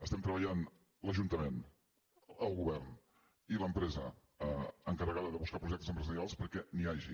estem treballant l’ajuntament el govern i l’empresa encarregada de buscar projectes empresarials perquè n’hi hagi